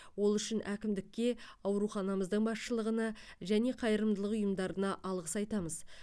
ол үшін әкімдікке ауруханамыздың басшылығына және қайырымдылық ұйымдарына алғыс айтамыз